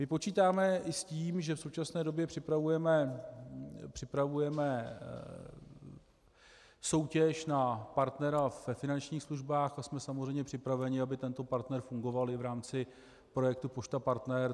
Počítáme i s tím, že v současné době připravujeme soutěž na partnera ve finančních službách, a jsme samozřejmě připraveni, aby tento partner fungoval i v rámci projektu Pošta Partner.